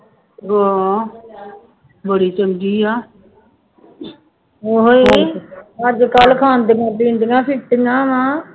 ਹਾਂ ਬੜੀ ਚੰਗੀ ਹੈ ਉਹੀ ਅੱਜ ਕੱਲ੍ਹ ਖਾਂਦੀਆਂ ਪੀਂਦੀਆਂ ਫਿਰਦੀਆਂ ਵਾਂ